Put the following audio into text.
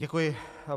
Děkuji.